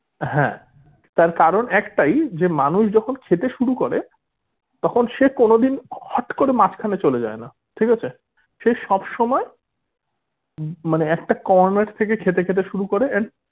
হ্যা তার কারণ একটাই যে মানুষ যখন খেতে শুরু করে তখন সে কোনোদিন হট করে মাঝখানে চলে যায়না ঠিক আছে সে সবসময় মানে একটা corner থেকে খেতে খেতে শুরু করে and